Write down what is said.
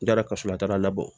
N taara ka sɔrɔ a taara labɔ